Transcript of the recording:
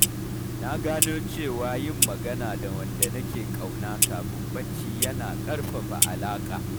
Na gano cewa yin magana da wanda nake ƙauna kafin barci yana ƙarfafa alaƙa.